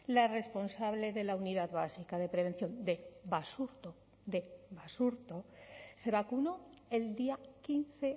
la responsable de la unidad básica de prevención de basurto de basurto se vacunó el día quince